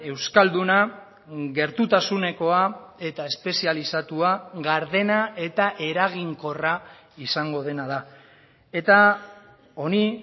euskalduna gertutasunekoa eta espezializatua gardena eta eraginkorra izango dena da eta honi